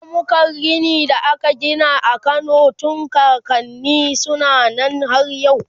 ramukan rini da aka Gina a Kano tun kakanni suna Nan har yau